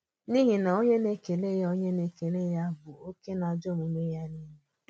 N’ihi na onye nḕkèlè ya onye nḕkèlè ya bụ̀ òkè n’àjọ omume-ya niile.